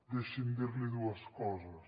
deixi’m dir li dues coses